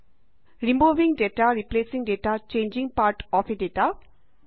removing data replacing data changing part of a data